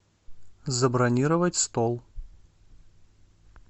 забронировать стол